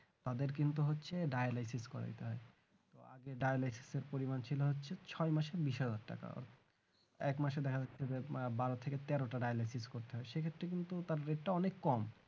তাদের কিন্তু হচ্ছে dialysis করে তাই আগে dialysis এর পরিমান ছিল হচ্ছে ছয় মাসে বিষ হাজার টাকা এক মাসে দেখা যাচ্ছে আহ বারো থেকে তেরোটা dialysis করতে হয় সেক্ষেত্রে কিন্তু তার রেটটা অনেক কম